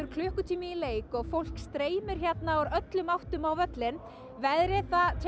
klukkutími í leik og fólk streymir úr öllum áttum á völlinn veðrið